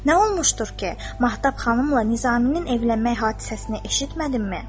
Nə olmuşdur ki, Mahtab xanımla Nizaminin evlənmək hadisəsini eşitmədimmi?